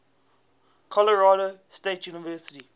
colorado state university